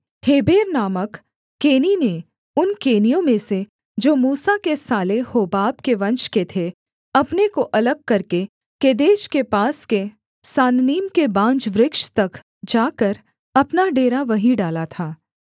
Heber नामक केनी ने उन केनियों में से जो मूसा के साले होबाब के वंश के थे अपने को अलग करके केदेश के पास के सानन्नीम के बांज वृक्ष तक जाकर अपना डेरा वहीं डाला था